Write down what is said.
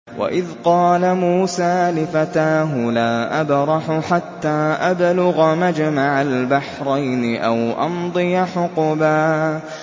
وَإِذْ قَالَ مُوسَىٰ لِفَتَاهُ لَا أَبْرَحُ حَتَّىٰ أَبْلُغَ مَجْمَعَ الْبَحْرَيْنِ أَوْ أَمْضِيَ حُقُبًا